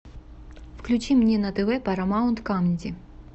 включи мне на тв парамаунт камеди